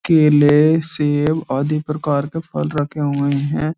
केले सेब आदि प्रकार के फल रखे हुए हैं।